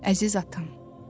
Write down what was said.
Əziz atam.